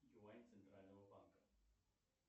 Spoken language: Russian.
юань центрального банка